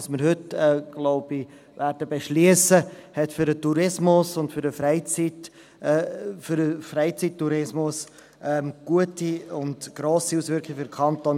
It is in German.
Was wir heute wahrscheinlich beschliessen werden, hat für den Tourismus und den Freizeittourismus im Kanton Bern gute und grosse Auswirkungen, denke ich.